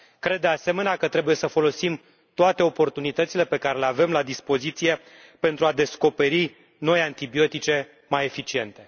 Cred, de asemenea, că trebuie să folosim toate oportunitățile pe care le avem la dispoziție pentru a descoperi noi antibiotice, mai eficiente.